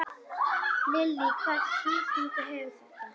Lillý: Hvaða þýðingu hefur þetta?